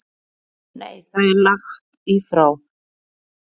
Nei það er lagt í frá